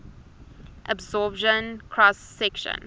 absorption cross section